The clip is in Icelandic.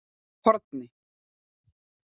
Horni